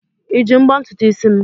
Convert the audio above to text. Iji mbọ ntutu isi m?